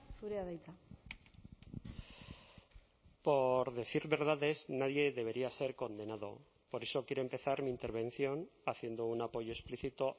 zurea da hitza por decir verdades nadie debería ser condenado por eso quiero empezar mi intervención haciendo un apoyo explícito